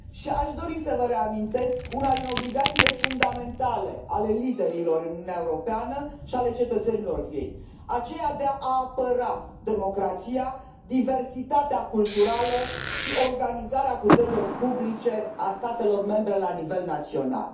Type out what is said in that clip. Aș dori să vă reamintesc una din obligațiile fundamentale ale liderilor în Uniunea Europeană și ale cetățenilor ei aceea de a apăra democrația, diversitatea culturală și organizarea puterilor publice ale statelor membre la nivel național.